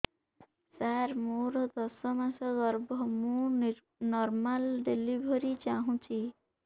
ସାର ମୋର ଦଶ ମାସ ଗର୍ଭ ମୁ ନର୍ମାଲ ଡେଲିଭରୀ ଚାହୁଁଛି